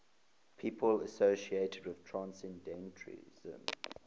people associated with transcendentalism